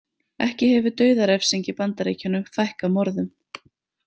Ekki hefur dauðarefsing í Bandaríkjunum fækkað morðum.